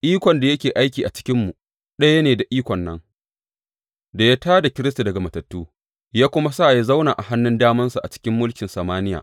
Ikon da yake aiki a cikinmu, ɗaya ne da ikon nan da ya tā da Kiristi daga matattu, ya kuma sa ya zauna a hannun damansa a cikin mulkin samaniya.